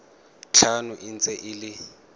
tlhano e ntse e le